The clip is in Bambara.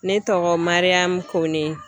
Ne tɔgɔ Kariyamu Kone